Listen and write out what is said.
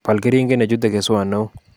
Bal keringet nechutei keswot neo